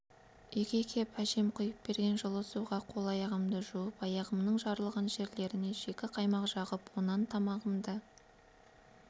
үйге кеп әжем құйып берген жылы суға қол-аяғымды жуып аяғымның жарылған жерлеріне шикі қаймақ жағып онан тамағымды